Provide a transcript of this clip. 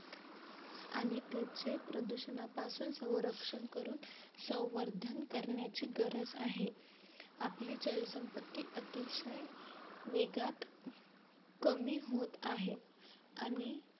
आणि त्याचे प्रदूषणापासून सरंक्षण करून संवर्धन करण्याचे गरज आहे. आपली जलसंपत्ती अतिशय वेगात कमी होत आहे. आणि